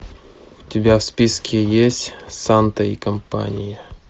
у тебя в списке есть санта и компания